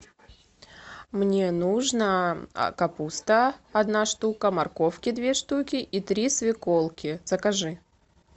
мне нужно капуста одна штука морковки две штуки и три свеколки закажи